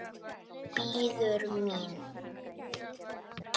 Bíður mín.